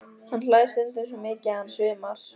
Hann hlær stundum svo mikið að hann svimar.